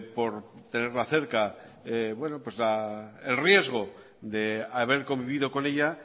por tenerla cerca bueno pues el riesgo de haber convivido con ella